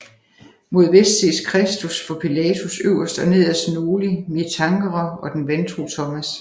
Mod vest ses Kristus for Pilatus øverst og nederst Noli me tangere og den vantro Thomas